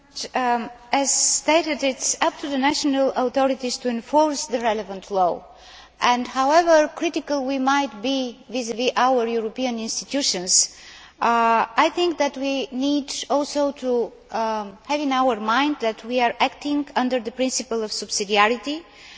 As stated, it is up to the national authorities to enforce the relevant law and, however critical we might be vis vis our European institutions, I think that we need also to bear in mind that we are acting under the principle of subsidiarity and